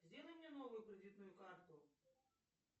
сделай мне новую кредитную карту